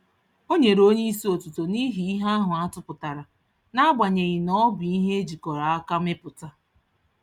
Onyere onyeisi otuto n'ihi ihe ahụ atụpụtara, naagbanyeghi nọbụ ihe ejikọrọ aka mepụta